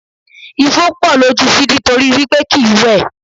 Ifo pọ̀ lójú Sidi torí wí pé kìí wẹ̀.